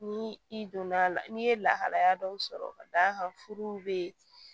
Ni i donna la n'i ye lahalaya dɔw sɔrɔ ka d'a kan furuw bɛ yen